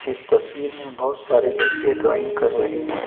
इस तस्वीर में बोहोत सारे बच्चे ड्राइंग कर रहे हैं।